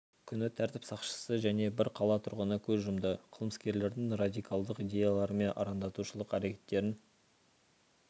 күні тәртіп сақшысы және бір қала тұрғыны көз жұмды қылмыскерлердің радикалдық идеялары мен арандатушылық әрекеттерін